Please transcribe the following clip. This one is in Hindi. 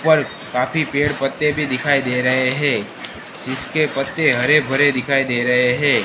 पर काफी पेड़ पत्ते भी दिखाई दे रहे है जिसके पत्ते हरे भरे दिखाई दे रहे है।